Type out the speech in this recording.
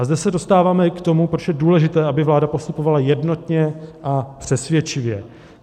A zde se dostáváme i k tomu, proč je důležité, aby vláda postupovala jednotně a přesvědčivě.